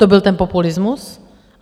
To byl ten populismus?